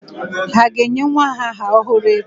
Ha ga-enye nwa aha ọhụrụ echi?